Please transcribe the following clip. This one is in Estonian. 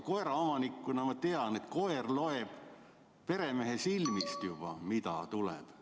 Koeraomanikuna ma tean, et koer loeb juba peremehe silmist, mida tuleb teha.